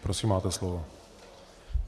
Prosím, máte slovo.